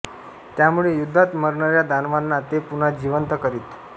त्यामुळे युद्धात मरणाऱ्या दानवांना ते पुन्हा जिवंत करीत